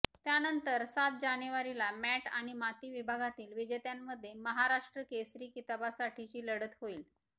त्यानंतर सात जानेवारीला मॅट आणि माती विभागातील विजेत्यांमध्ये महाराष्ट्र केसरी किताबासाठीची लढत होईल